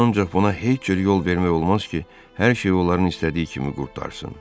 Ancaq buna heç cür yol vermək olmaz ki, hər şey onların istədiyi kimi qurtarsın.